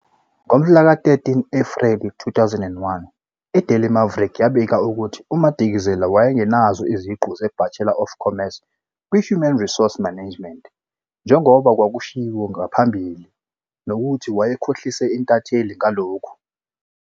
Ngomhlaka 13 Ephreli 2021, iDaily Maverick yabika ukuthi uMadikizela wayengenazo iziqu zeBachelor of Commerce kwiHuman Resource Management njengoba kwakushiwo ngaphambili nokuthi wayekhohlise intatheli ngalokhu.